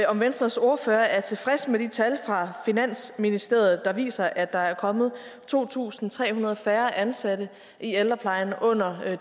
om venstres ordfører er tilfreds med de tal fra finansministeriet der viser at der er kommet to tusind tre hundrede færre ansatte i ældreplejen under